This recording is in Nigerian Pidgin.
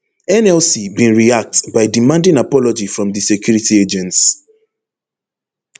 nlc bin react by demanding apology from di security agents